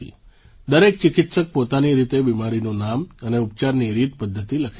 દરેક ચિકિત્સક પોતાની રીતે બીમારીનું નામ અને ઉપચારની રીતપદ્ધતિ લખે છે